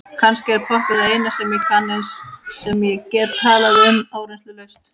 Kannski er poppið það eina sem ég kann, eina sem ég get talað um áreynslulaust.